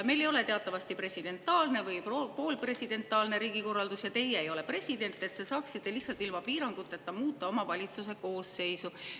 Meil ei ole teatavasti presidentaalne või poolpresidentaalne riigikorraldus ja teie ei ole president, et te saaksite lihtsalt ilma piiranguteta muuta valitsuse koosseisu.